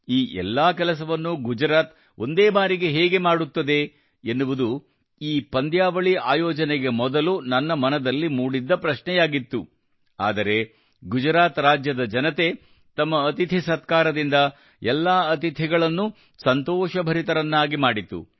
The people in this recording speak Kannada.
ಈ ಎಲ್ಲಾ ಕೆಲಸವನ್ನೂ ಗುಜರಾತ್ ಒಂದೇ ಬಾರಿಗೆ ಹೇಗೆ ಮಾಡುತ್ತದೆ ಎನ್ನುವುದು ಈ ಪಂದ್ಯಾವಳಿ ಆಯೋಜನೆಗೆ ಮೊದಲು ನನ್ನ ಮನದಲ್ಲಿ ಮೂಡಿದ್ದ ಪ್ರಶ್ನೆಯಾಗಿತ್ತು ಆದರೆ ಗುಜರಾತ್ ರಾಜ್ಯದ ಜನತೆ ತಮ್ಮ ಅತಿಥಿ ಸತ್ಕಾರದಿಂದ ಎಲ್ಲಾ ಅತಿಥಿಗಳನ್ನೂ ಸಂತೋಷಭರಿತರನ್ನಾಗಿ ಮಾಡಿತು